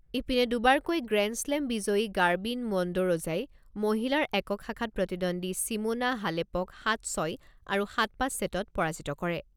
ইপিনে, দুবাৰকৈ grand slam বিজয়ী গাৰ্বিন মণ্ডৰোজাই মহিলাৰ একক শাখাত প্ৰতিদ্বন্দ্বী চিমোনা হালেপক সাত ছয় আৰু সাত পাঁচ ছেটত পৰাজিত কৰে।